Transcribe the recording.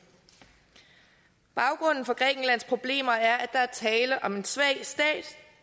baggrunden for grækenlands problemer er der er tale om en svag stat